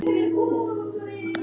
Tónlist var okkar mál.